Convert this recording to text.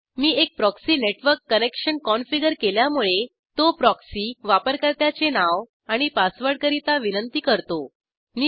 मी एक proxy network connection configure केल्यामुळे तो प्रॉक्सी वापरकर्त्याचे नाव आणि पासवर्डकरीता विनंती करतो